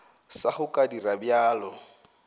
sa go ka dira bjalo